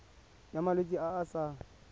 ya malwetse a a sa